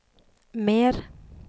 mer